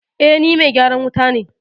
Eh, ni me gyaran wuta